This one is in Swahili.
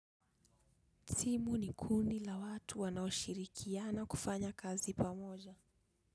Timu ni kundi la watu wanaoshirikia na kufanya kazi pamoja.